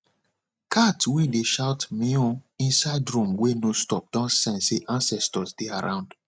cat wey dey shout meown inside room wey no stop don sense say ancestor dey around